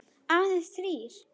Aðeins þrír.